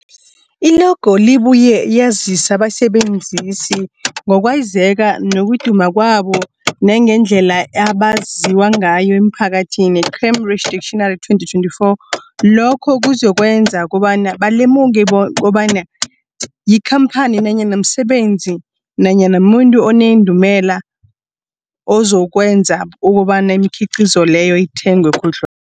I-logo ibuye yazise abasebenzisi ngokwazeka nokuduma kwabo nangendlela abaziwa ngayo emphakathini, Cambridge Dictionary 2024. Lokho kuzokwenza kobana balemuke kobana yikhamphani nanyana umsebenzi nanyana umuntu onendumela, okuzokwenza kobana imikhiqhizo leyo ithengwe khudlwa